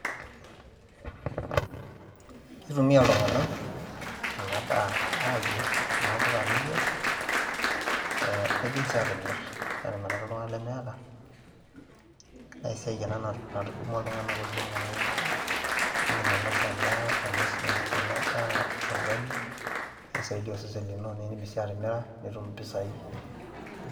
Kitumiai iltung'anak enadaa ayier, kuna puka niyier, nidim si atimir, atimiraki iltung'anak lemeeta. Na esiai ena natudumua iltung'anak oleng' amu idim ainosa endaa ainosie enadaa orgali, na kisaidia osesen lino. Nidim si atimira, nitum impisai.